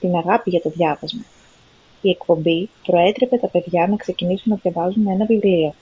την αγάπη για το διάβασμα - [η εκπομπή] προέτρεπε τα παιδιά να ξεκινήσουν να διαβάζουν ένα βιβλίο»